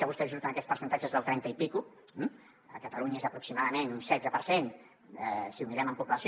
a vostè li surten aquests percentatges del trenta i escaig eh a catalunya és aproximadament un setze per cent si ho mirem en població